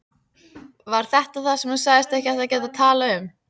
Var það þetta sem þú sagðist ekki geta talað um?